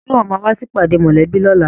Ṣe ìwọ máa wá sí ìpàdé mòlẹ́bí lóla?